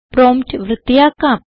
prompt വൃത്തിയാക്കാം